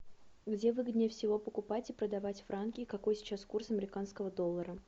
где выгоднее всего покупать и продавать франки и какой сейчас курс американского доллара